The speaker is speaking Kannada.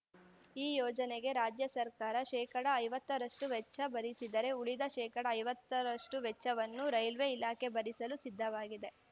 ಈ ಯೋಜನೆಗೆ ರಾಜ್ಯ ಸರ್ಕಾರ ಶೇಕಡಾ ಐವತ್ತರಷ್ಟುವೆಚ್ಚ ಭರಿಸಿದರೆ ಉಳಿದ ಶೇಕಡಾ ಐವತ್ತರಷ್ಟುವೆಚ್ಚವನ್ನು ರೇಲ್ವೆ ಇಲಾಖೆ ಭರಿಸಲು ಸಿದ್ಧವಾಗಿದೆ